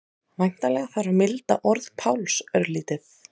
Væntanlega þarf að milda orð Páls örlítið.